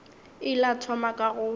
ile a thoma ka go